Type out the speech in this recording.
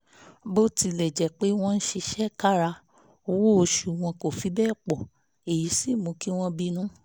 bó tilẹ̀ jẹ́ pé wọ́n ń ṣiṣẹ́ kára owó oṣù wọn kò fi bẹ́ẹ̀ pọ̀ èyí sì mú kí wọ́n bínú